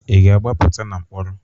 Ị ga-agbapụta na mkpọrọ?